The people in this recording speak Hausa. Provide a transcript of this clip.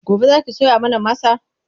gobe Zaki soya mana masa?